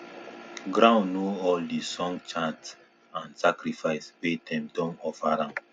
ground know all d song chant and sacrifice wey dem don offer am